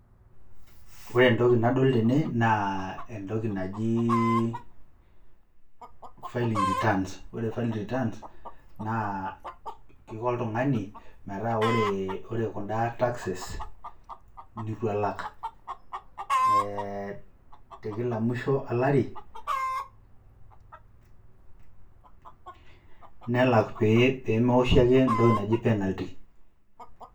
Ore entoki nadol tene naa entoki najii filling returns ore [cs filling returns, naa kiko oltung'ani metaa kore kunda taxes nitu elak te kila mwisho olari, nelak pee mewoshi ake entoki naji penalty.